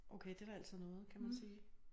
Okay det da altså noget kan man sige